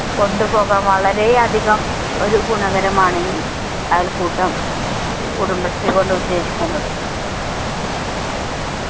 കൊണ്ട് പോകാൻ വളരെയധികം ഒരു ഗുണകരമാണ് ഈ അയൽക്കൂട്ടം കുടുംബശ്രീ കൊണ്ട് ഉദ്ദേശിക്കുന്നത്